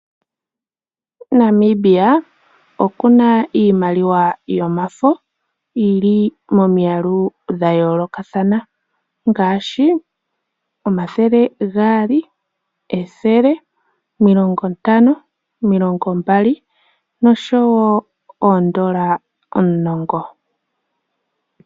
Namibia okuna iimaliwa yomafo yili momwaalu gwa yoolokathana ngaashi omathele gaali, ethele, omilongo ntano, omilongo mbali noshowo oondola omulongo.